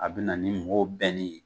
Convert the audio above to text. A bɛ na ni mɔgɔw bɛnni ye